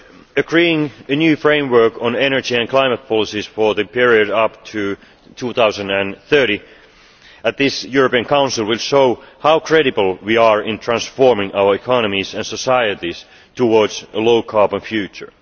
Agreeing a new framework on energy and climate policies for the period up to 2030 at this European Council will show how credible we are in transforming our economies and societies towards a low carbon future.